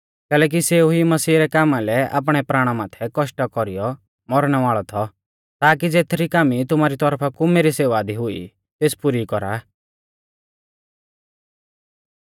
कैलैकि सेऊ ई मसीह रै कामा लै आपणै प्राणा माथै कौष्टा कौरीयौ मौरणै वाल़ौ थौ ताकि ज़ेथरी कामी तुमारी तौरफा कु मेरी सेवा दी हुई तेस पुरी कौरा